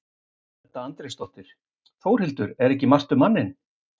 Edda Andrésdóttir: Þórhildur, er ekki margt um manninn?